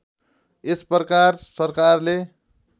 यस प्रकार सरकारले